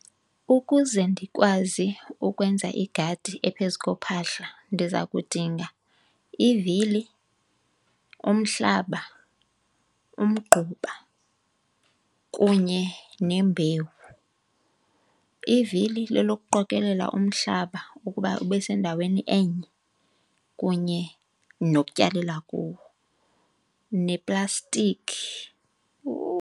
Ukuze ndikwazi ukwenza igadi ephezu kophahla ndiza kudinga ivili, umhlaba, umgquba kunye nembewu. Ivili lelokuqokelela umhlaba ukuba ube sendaweni enye kunye nokutyalela kuwo, neplastiki.